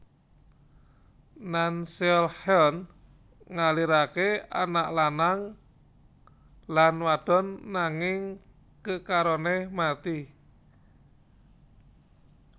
Nanseolheon ngalirake anak lanang lan wadon nanging kekarone mati